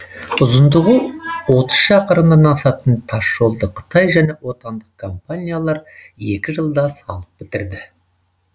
ұзындығы отыз шақырымнан асатын тасжолды қытай және отандық компаниялар екі жылда салып бітірді